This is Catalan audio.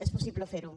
és possible fer ho